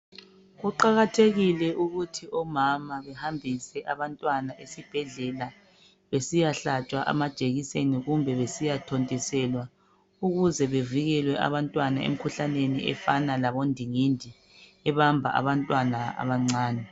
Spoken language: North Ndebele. Kuqakathekile ukuthi omama behambise abantwana esibhedlela besiya hlatshwa amajekiseni kumbe besiyathontiswela ukuze bevikelwe abantwana emkhuhlaneni efana labondingindi ebamba abantwana abancane.